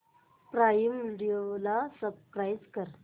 prime Video ला subscribe कर